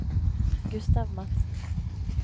Gustav Madsen